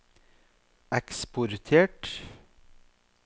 eksportert